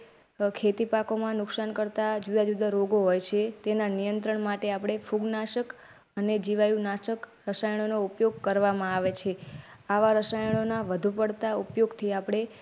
ખેતીપાકોમાં નુકશાન કરતા જુદા જુદા રોગો હોય છે. તેના નિયંત્રણ માટે ફૂગનાશક અને જીવાણુનાશક રસાયણોનો ઉપયોગ કરવામાં આવે છે. આવા રસાયણો વધુ પડતા ઉપયોગથી આપડે.